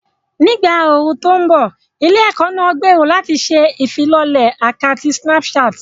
Ní ìgbà ooru tó ń bọ̀, ilé-ẹ̀kọ́ náà gbèrò láti ṣe ìfilọ́lẹ̀ àkátì Snapchat.